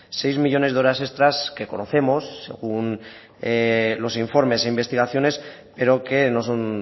seis millónes de horas extra que conocemos según los informes e investigaciones pero que no son